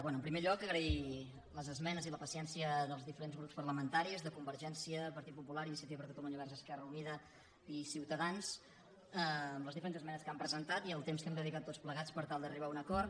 bé en primer lloc agrair les esmenes i la paciència dels diferents grups parlamentaris de convergència partit popular iniciativa per catalunya verds esquerra unida i ciutadans amb les diferents esmenes que han presentat i el temps que hem dedicat tots plegats per tal d’arribar a un acord